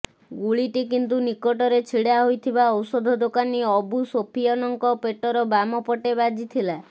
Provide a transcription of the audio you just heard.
ଗୁଳିଟି କିନ୍ତୁ ନିକଟରେ ଛିଡ଼ା ହୋଇଥିବା ଔଷଧ ଦୋକାନୀ ଅବୁ ସୋଫିଅନଙ୍କ ପେଟର ବାମ ପଟେ ବାଜିଥିଲା